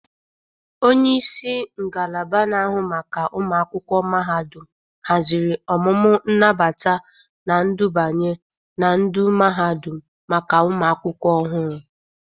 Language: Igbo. Onyeisi ngalaba na-ahụ maka ụmụakwụkwọ mahadụm hazịrị ọmụmụ nnabata na ndubanye na ndu mahadum maka ụmụ akwụkwọ ọhụrụ.